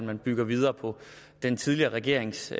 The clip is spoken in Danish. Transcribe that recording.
man bygger videre på den tidligere regerings